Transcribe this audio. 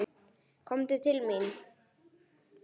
Komdu til mín!